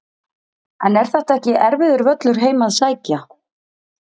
En er þetta ekki erfiður völlur heim að sækja?